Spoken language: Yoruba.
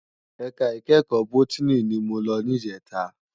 Èká ikèékò bótìní ni mó lò nijètá